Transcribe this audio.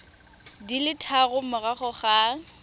di le tharo morago ga